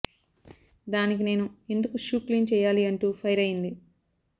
దానికి నేను ఎందుకు షూ క్లీన్ చేయాలి అంటూ ఫైర్ అయింది